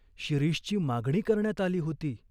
शिरीषची मागणी करण्यात आली होती.